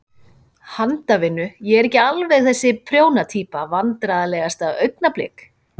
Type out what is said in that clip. Handavinnu, ég er ekki alveg þessi prjóna týpa Vandræðalegasta augnablik?